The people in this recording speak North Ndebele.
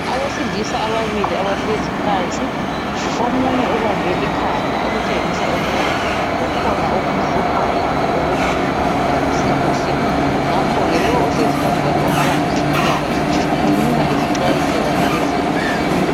Abesilisa ababili abahlezi phansi. Omunye ubambe ikhanda okutshengisa ukuba kukhona okumhluphayo kumbe okungamlalisi kuhle. Ngakho ke lo ohlezi phambi kwakhe ongaba ngowezempilakahle umnika izixwayiso kanye le zeluleko